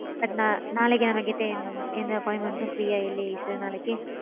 But நா நாளைக்கு நா நம்மக்கிட்ட எந்த appointment உம் free யா இல்லயே sir நாளைக்கு.